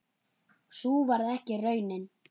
Sú varð ekki raunin.